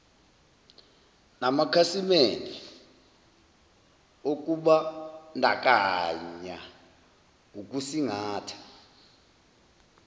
namakhasimende okubandakanya ukusingatha